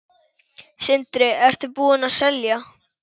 Sindri: Ertu búinn að selja?